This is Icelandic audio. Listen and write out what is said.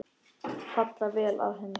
Falla vel að henni.